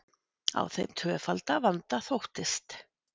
Á þeim tvöfalda vanda þóttist